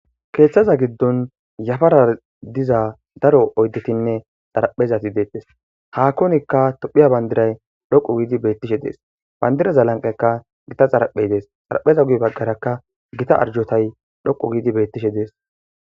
Keeththaza giddon yafara diza daro oyddetinne xaraphezati deettes hakkonikka tophiya bandiray dhoqu giidi beettishe dees bandiraza lanqekka gita xaraphey dees xarapheza guy baggarakka gita arjotay dhoqu giidi beettishe dees.